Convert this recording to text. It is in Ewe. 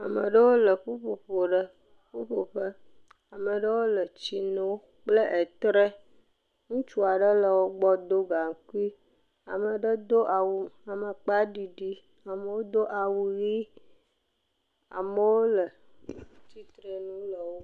Ame aɖewo le ƒuƒoƒo ɖe ƒuƒoƒe, ame ɖewo le tsi nom kple etre, ŋutsu aɖe le wo gbɔ do gaŋkui, ame ɖe do awu amakpa ɖiɖi, amewo do awu ʋi, amewo le…